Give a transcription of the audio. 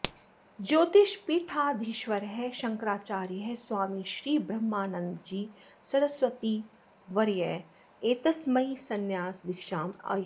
ज्योतिष्पीठाधीश्वरः शङ्कराचार्यः स्वामी श्री ब्रन्मानन्दजी सरस्वतीवर्यः एतस्मै संन्यासदीक्षाम् अयच्छत्